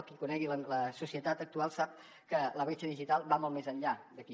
qui conegui la societat actual sap que la bretxa digital va molt més enllà d’aquí